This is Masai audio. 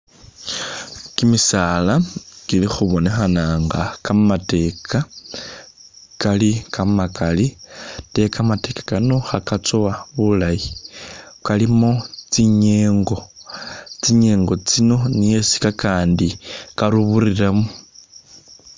Kimisaala kili khubonekhana nga kamateeka kamakali ate kamateeka kano kha katsowa bulayi, kalimo tsinyengo, tsinyengo tsino niyo isi kakandi karuburiramu.